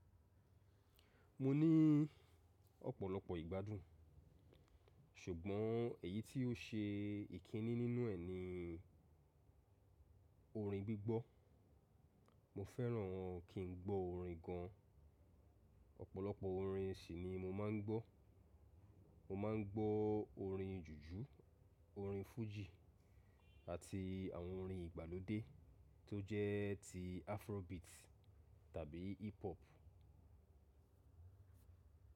Mo ní ọ̀pọ̀lọpọ̀ ìgbádùn, ṣùgbọ́n èyí tí ó ṣe ìkíní nínú ẹ̀ ni orin gbígbọ́. Mo fẹ́ràn kí n gbọ́ orin gan-an. Ọ̀pọ̀lọpọ̀ orin sì ni mo máa ń gbọ́. Mo máa ń gbọ́ orin jùjú, orin fújì àti àwọn orin ìgbàlódé tó jẹ́ ti afrobeat tàbí hip hop.